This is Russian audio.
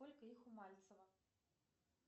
сколько их у мальцева